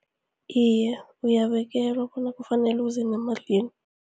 Iye, uyabekelwa bona kufanele